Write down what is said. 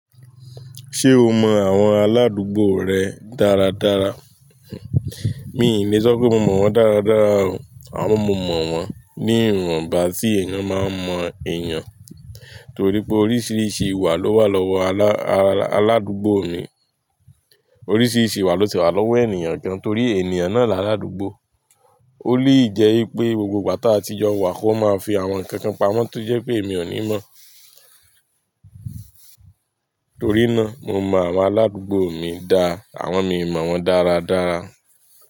Ṣé o mọ àwọn aládùúgbò rẹ dáradára? Mi ò ní sọ pé mo mọ̀ wọ́n dáradára o. Àmọ mo mọ̀ wọ́n ní ìwọ̀nbà tí èèyàn máa ń mọ èèyàn torí pé oríṣiríṣi ìwà ló wà lọ́wọ́ aládùúgbò mi. Oríṣiríṣi ìwà ló ti wà lọ́wọ́ èniyàn gan torí èniyàn náà là aládùúgbò. Ó lè jẹ́ pé gbogbo ìgbà tí a ti jọ wà kí wọ́n máa fi àwọn nǹkan kan pamọ́ tí ó jẹ́ pé èmi ò ní mọ̀. Torí náà, mo mọ àwọn aládùúgbò mi dá, àwọn mi mọ̀ wọ́n dáradára.